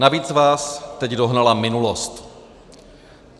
Navíc vás teď dohnala minulost.